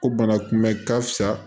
Ko bana kunbɛ ka fisa